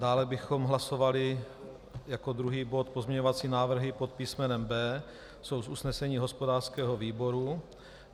Dále bychom hlasovali jako druhý bod pozměňovací návrhy pod písmenem B. Jsou z usnesení hospodářského výboru.